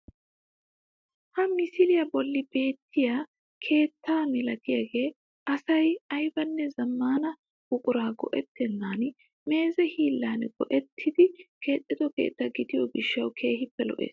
Ha misiliyaa bolli beettiyaa keetta milatiyaagee asay aybanne zammaana buquraa go"ettenan meeze hiillan go'ettidi keexxido keettaa gidiyoo gishshawu kehippe lo"ees.